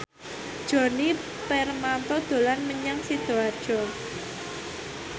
Djoni Permato dolan menyang Sidoarjo